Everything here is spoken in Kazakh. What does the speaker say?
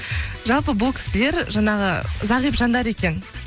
жалпы бұл кісілер жаңағы зағип жандар екен